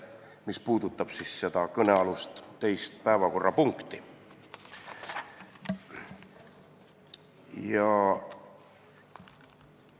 See puudutab siis istungi teist päevakorrapunkti kõnealusel teemal.